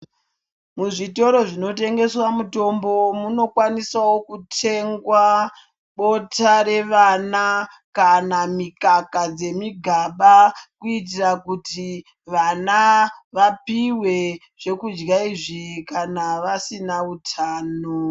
Mu zvitoro zvino tengeswa mutombo muno kwanisawo kutengwa bota revana kana mikaka dze migaba kuitira kuti vana vapihwe zvekudya izvi kana vasina utano.